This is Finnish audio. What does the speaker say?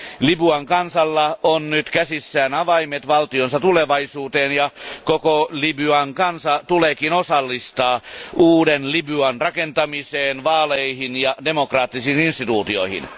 Libyan kansalla on nyt käsissään avaimet valtionsa tulevaisuuteen, ja koko Libyan kansa tuleekin osallistaa uuden Libyan rakentamiseen, vaaleihin ja demokraattisiin instituutioihin.